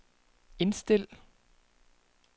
indstil